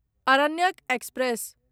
Aranyak express